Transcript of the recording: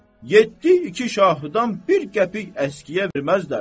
yeddi iki şahıdan bir qəpik əskiyə verməzlər.